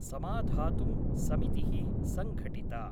समाधातुं समितिः संघटिता।